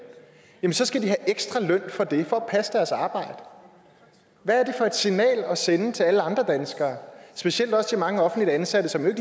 så skal de have ekstra løn for det for at passe deres arbejde hvad er det for et signal at sende til alle andre danskere specielt også til mange offentligt ansatte som jo